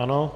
Ano.